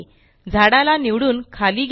झाडाला निवडून खाली घेऊ